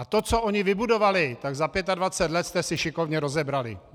A to, co oni vybudovali, tak za 25 let jste si šikovně rozebrali!